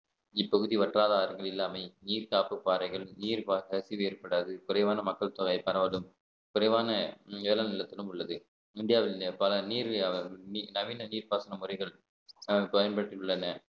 இப்பகுதி வற்றாத ஆறுகள் இல்லாமையே நீர் காப்பு பாறைகள் நீர் பாச கசிவு ஏற்படாது குறைவான மக்கள் தொகை பரவலும் குறைவான ஏல நிலத்திலும் உள்ளது இந்தியாவில் நேர் பல நீர் வியாபாரம் நீ~ நவீன நீர்ப்பாசன முறைகள் அஹ் பயன்படுத்தி உள்ளனர்